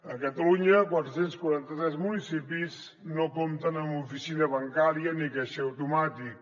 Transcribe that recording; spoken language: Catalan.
a catalunya quatre cents i quaranta tres municipis no compten amb oficina bancària ni caixer automàtic